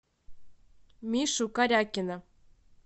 мишу корякина